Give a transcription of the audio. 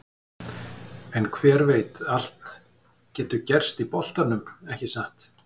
En hver veit allt getur gerst í boltanum, ekki satt?